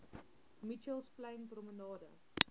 mitchells plain promenade